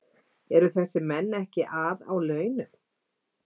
Eru þessir menn ekki að á launum?